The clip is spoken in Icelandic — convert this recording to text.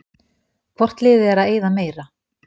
Hvort liðið er að eyða meira?